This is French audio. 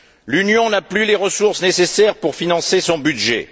L'Union n'a plus les ressources nécessaires pour financer son budget.